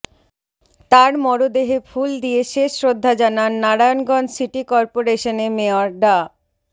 তার মরদেহে ফুল দিয়ে শেষ শ্রদ্ধা জানান নারায়ণগঞ্জ সিটি কর্পোরেশনে মেয়র ডা